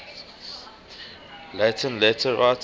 latin letter writers